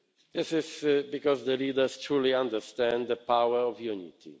This is because the leaders truly understand the power of unity.